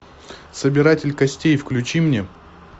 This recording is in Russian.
собиратель костей включи мне